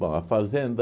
Bom, a Fazenda